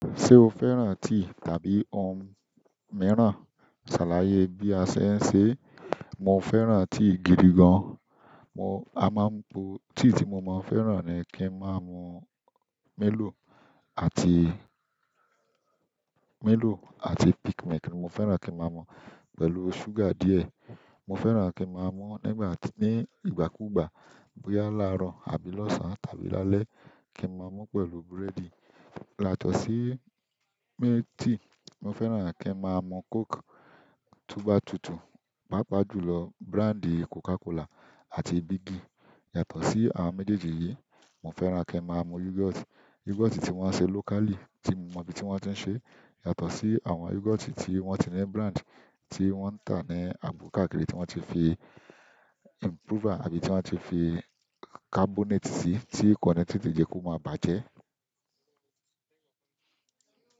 Ṣé o fẹ́ràn tí tàbí ohun mìíràn? Sàlàyé bí a ṣe ṣe. Mo fẹ́ràn tí gidi gan. Mo, a máa ń po, tí tí mo máa ń fẹ́ràn ni kí n máa mú milò àti milò àti peakmilk mo fẹ́ràn kí n máa mú pẹ̀lú ṣúgà díẹ̀. Mo fẹ́ràn kí n máa mú nígbà tí, ní ìgbà kú ìgbà, bóyá láàárọ̀ àbí lọ́sàn-án tàbí lálẹ́ kí n máa mú pẹ̀lú búrẹ́dì. Látọ̀sì mé tíì mo fẹ́ràn kí n máa mú Coke, tobà tutù, pàápàá jùlọ búráńdì Coca-Cola àti Bigi. Yàtọ̀ sí àwọn méjèèjì yìí, mo fẹ́ràn kí n máa mú yogọt. Yogọt tí wọ́n ṣe locally tí mo mọ ibi tí wọ́n ti ń ṣe. Yàtọ̀ sí àwọn yogọt tí wọ́n ti ní búráńdì, tí wọ́n ń tà ní abúkáàkiri tí wọ́n ti fi improver àbí tí wọ́n ti fi carbonate sí, tí ko ni tètè jẹ ki o máa bàjẹ́.